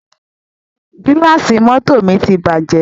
Gílàsì mọ́tọ̀ mi ti bàjẹ́.